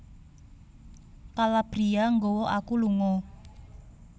Calabria nggawa aku lunga